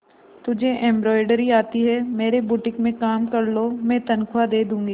तुझे एंब्रॉयडरी आती है मेरे बुटीक में काम कर लो मैं तनख्वाह दे दूंगी